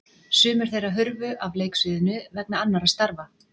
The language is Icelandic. Sumir þeirra hurfu af leiksviðinu vegna annarra starfa.